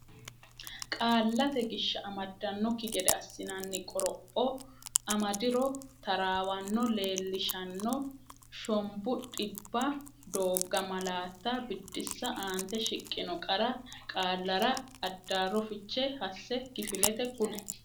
Qaallate Gishsha: amadannokki gede assinanni qoropho amadiro taraawanno leellishanno shombu dhibba doogga malaatta Biddissa Aante shiqqino qara qaallara addaarro fiche hasse kifilete kuli.